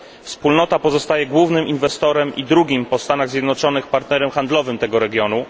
Wspólnota pozostaje głównym inwestorem i drugim po Stanach Zjednoczonych partnerem handlowym tego regionu.